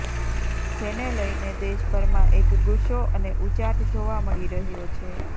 જેને લઈને દેશભરમાં એક ગુસ્સો અને ઉચાટ જોવા મળી રહ્યો છે